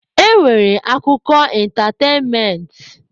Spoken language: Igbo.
E nwere akụkọ ịntatenment.